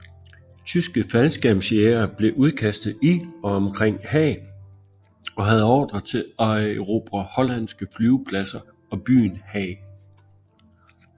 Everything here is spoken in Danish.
Tyske faldskærmsjægere blev udkastet i og omkring Haag og havde ordre til at erobre hollandske flyvepladser og byen Haag